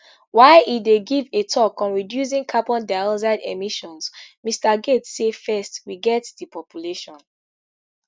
while e dey give a tok on reducing carbon dioxide emissions mr gates say first we get di population